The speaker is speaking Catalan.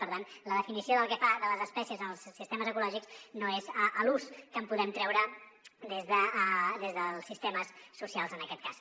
per tant la definició de les espècies en els sistemes ecològics no és l’ús que en podem treure des dels sistemes socials en aquest cas